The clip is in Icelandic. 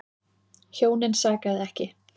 Hjónin sakaði ekki.